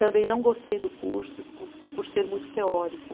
Também não gostei do curso, por por ser muito teórico.